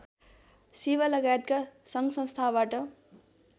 सेवा लगायतका सङ्घसस्थाबाट